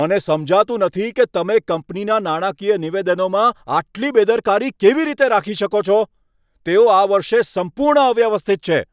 મને સમજાતું નથી કે તમે કંપનીના નાણાકીય નિવેદનોમાં આટલી બેદરકારી કેવી રીતે રાખી શકો છો. તેઓ આ વર્ષે સંપૂર્ણ અવ્યવસ્થિત છે.